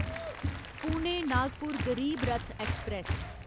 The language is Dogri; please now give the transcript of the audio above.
पुणे नागपुर गरीब रथ ऐक्सप्रैस